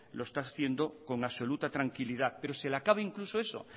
lo está haciendo con absoluta tranquilidad pero se le acaba incluso eso